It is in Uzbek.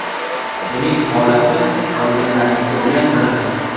Uning holati qolganlarniki bilan bir xil.